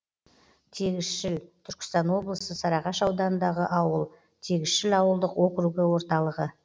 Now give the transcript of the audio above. тегісшіл түркістан облысы сарыағаш ауданындағы ауыл тегісшіл ауылдық округі орталығы